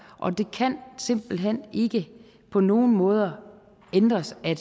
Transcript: og det kan simpelt hen ikke på nogen måder ændres at